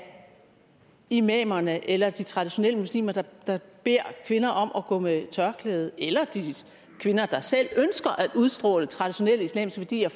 imamerne eller de traditionelle muslimer der beder kvinder om at gå med tørklæde eller de kvinder der selv ønsker at udstråle traditionelle islamiske værdier